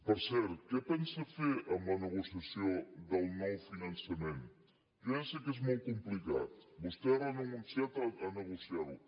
per cert què pensa fer amb la negociació del nou finançament jo ja sé que és molt complicat vostè ha renunciat a negociar ho